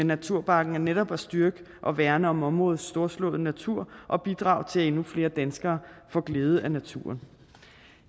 naturparken er netop at styrke og værne om områdets storslåede natur og bidrage til at endnu flere danskere får glæde af naturen